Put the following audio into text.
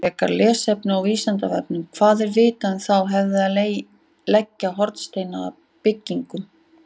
Frekara lesefni á Vísindavefnum: Hvað er vitað um þá hefð að leggja hornsteina að byggingum?